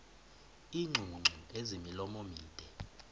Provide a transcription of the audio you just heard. iingcungcu ezimilomo mide